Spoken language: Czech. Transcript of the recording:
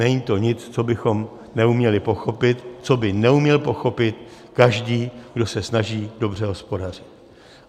Není to nic, co bychom neuměli pochopit, co by neuměl pochopit každý, kdo se snaží dobře hospodařit.